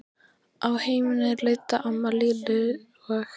Á heimleiðinni leiddi amma Lillu og